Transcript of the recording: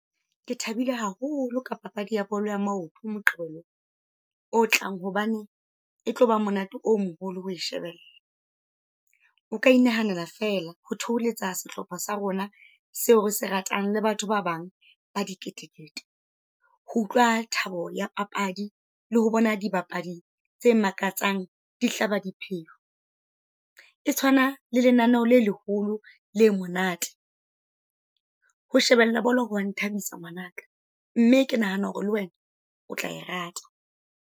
Ke thabile haholo ka papadi ya bolo ya maoto Moqebelo o tlang. Hobane e tloba monate o moholo ho o shebella. O ka inahanela feela ho theoletsa sehlopha sa rona seo re se ratang le batho ba bang ba diketekete. Ho utlwa thabo ya papadi, le ho bona dibapadi tse makatsang dihlaba dipheo. E tshwana le lenaneo le leholo le monate. Ho shebella bolo hoa nthabisa ngwanaka, mme ke nahana hore le wena o tla e rata.